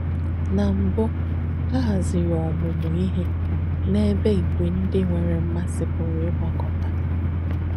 Nà mbù, à hàzìrì òmùmù íhe n’èbe ìgwē ndí nwère m̀másì pùrū ìgbákọ̀tà.